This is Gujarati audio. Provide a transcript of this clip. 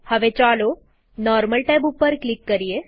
હવે ચાલો નોર્મલ ટેબ ઉપર ક્લિક કરીએ